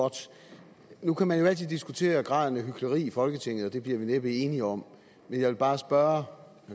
godt nu kan man jo altid diskutere graden af hykleri i folketinget og det bliver vi næppe enige om men jeg vil bare spørge